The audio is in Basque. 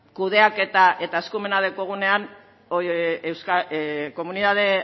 kudeaketa eta eskumena daukagunean komunitate